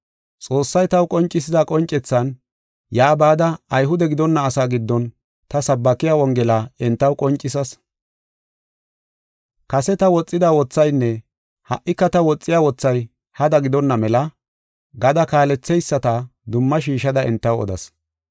Xoossay taw qoncisida qoncethan yaa bada Ayhude gidonna asaa giddon ta sabbakiya Wongela entaw qoncisas. Kase ta woxida wothaynne ha77ika ta woxiya wothay hada gidonna mela gada kaaletheyisata dumma shiishada entaw odas.